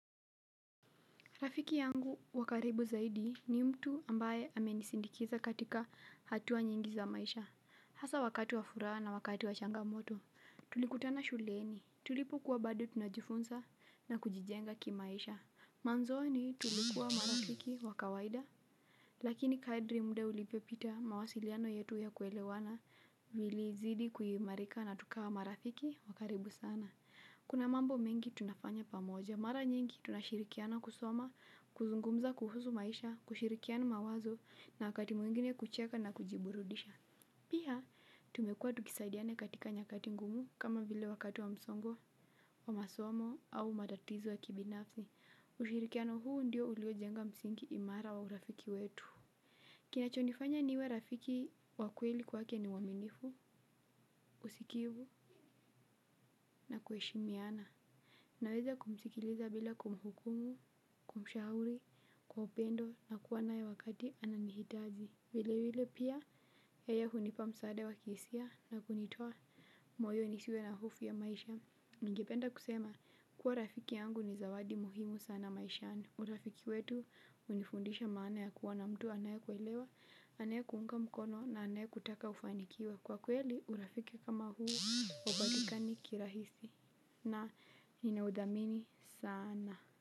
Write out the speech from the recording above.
Rafiki yangu wakaribu zaidi ni mtu ambaye amenisindikiza katika hatuwa nyingi za maisha. Hasa wakati wa furaa na wakati wa changamoto, tulikutana shuleni. Tulipo kuwa bado tunajifunza na kujijenga kimaisha. Manzoni tulikuwa marafiki wa kawaida. Lakini kaedri mda ulipe pita mawasiliano yetu ya kuelewana vili zidi kuimarika na tukawa marafiki wakaribu sana. Kuna mambo mengi tunafanya pamoja. Mara nyingi tunashirikiana kusoma, kuzungumza kuhusu maisha, kushirikiana mawazo na wakati mwingine kucheka na kujiburudisha. Pia, tumekua tukisaidiane katika nyakati ngumu kama vile wakati wa msongo, wa masomo au matatizo ya kibinafzi. Ushirikiano huu ndio uliojenga msingi imara wa urafiki wetu. Kinachonifanya niwe rafiki wakweli kwake ni uaminifu, usikivu na kueshimiana. Naweza kumsikiliza bila kumhukumu, kumshahuri, kwa upendo na kuwa nae wakati ananihitaji. Vile vile pia, yeye hunipa msaada wa kiisia na kunitoa moyo nisiwe na hofu ya maisha. Ningependa kusema, kuwa rafiki yangu ni zawadi muhimu sana maishani. Urafiki wetu unifundisha maana ya kuwa na mtu anaye kuelewa, anaye kuunga mkono na anaye kutaka ufanikiwa. Kwa kweli urafiki kama huu ubatikani kirahisi na ninaudhamini sana.